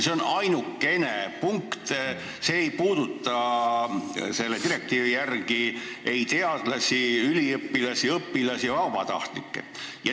See on ainukene punkt, mis ei puuduta ei teadlasi, üliõpilasi, õpilasi ega vabatahtlikke.